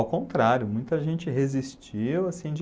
Ao contrário, muita gente resistiu, assim, de